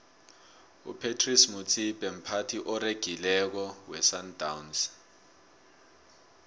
upratice motsipe mphathi oregileko wesandawnsi